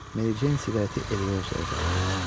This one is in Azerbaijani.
Mericeyn siqareti Eliozaya uzatdı.